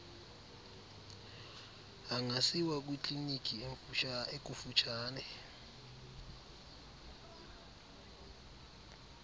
angasiwa kwikliniki ekufutshane